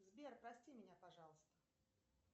сбер прости меня пожалуйста